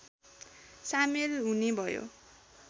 सामेल हुने भयो